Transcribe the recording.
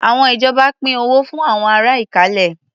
Àwọn ìjọba pín owó fún àwọn ará Ìkálẹ̀.